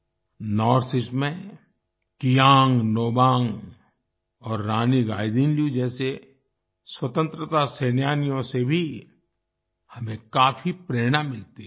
north east में कियांग नोबांग और रानी गाइदिन्ल्यू जैसे स्वतंत्रता सेनानियों से भी हमें काफी प्रेरणा मिलती है